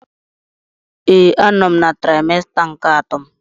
Ee, a nọ m na trimester nke atọ m.